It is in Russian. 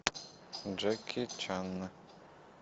джеки чан